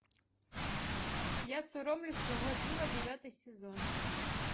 девятый сезон